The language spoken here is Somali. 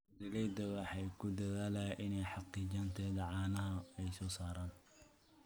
Beeraleydu waxay ku dadaalaan inay xaqiijiyaan tayada caanaha ay soo saaraan.